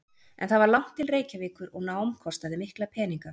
En það var langt til Reykjavíkur og nám kostaði mikla peninga.